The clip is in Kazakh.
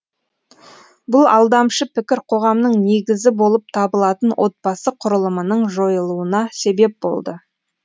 бұл алдамшы пікір қоғамның негізі болып табылатын отбасы құрылымының жойылуына себеп болды